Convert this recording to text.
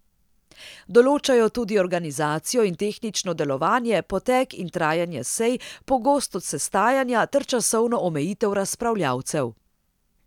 Določajo tudi organizacijo in tehnično delovanje, potek in trajanje sej, pogostost sestajanja ter časovno omejitev razpravljavcev.